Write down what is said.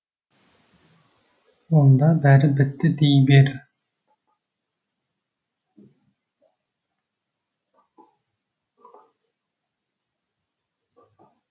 онда бәрі бітті дей бер